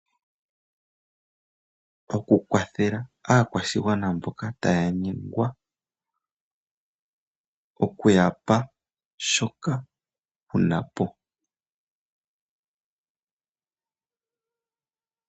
Okukwathela aakwashigwana mboka taya yengwa ,okuyapa shoka wunapo.